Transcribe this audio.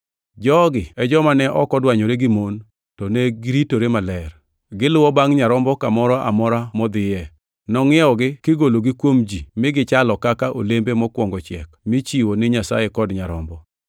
Jogi e joma ne ok odwanyore gi mon, to ne giritore maler. Giluwo bangʼ Nyarombo kamoro amora modhiye. Nongʼiewgi kigologi kuom ji migichalo kaka olembe mokwongo chiek michiwo ni Nyasaye kod Nyarombo.